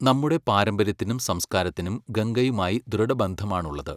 നമ്മുടെ പാരമ്പര്യത്തിനും സംസ്കാരത്തിനും ഗംഗയുമായി ദൃഢബന്ധമാണുള്ളത്.